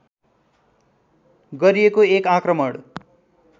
गरिएको एक आक्रमण